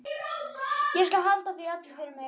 Ég skal halda því öllu fyrir mig.